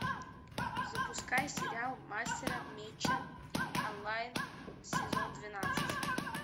запускай сериал мастера меча онлайн сезон двенадцать